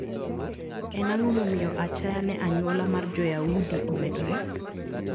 En ang`o momiyo achaya ne anyuola mar Joyaudi omedore?